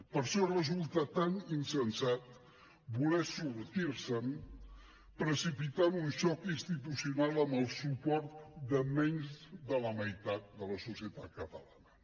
per això resulta tan insensat voler sortir se’n precipitant un xoc institucional amb el suport de menys de la meitat de la societat catalana